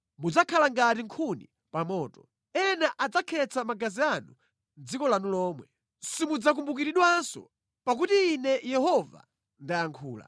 Mudzakhala ngati nkhuni pa moto. Ena adzakhetsa magazi anu mʼdziko lanu lomwe. Simudzakumbukiridwanso pakuti Ine Yehova ndayankhula.’ ”